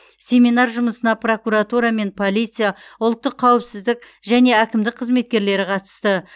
семинар жұмысына прокуратура мен полиция ұлттық қауіпсіздік және әкімдік қызметкерлері қатысты